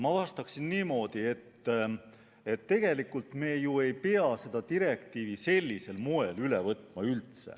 Ma vastan niimoodi, et tegelikult me ju ei pea seda direktiivi üldse sellisel moel üle võtma.